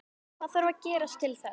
Hvað þarf að gerast til þess?